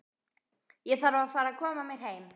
Ég þarf að fara að koma mér heim.